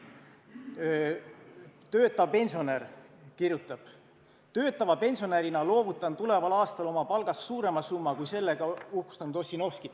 Töötav pensionär kirjutab: "Töötava pensionärina loovutan tuleval aastal oma palgast suurema summa kui sellega uhkustanud Ossinovski.